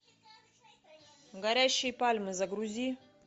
горящие пальмы загрузи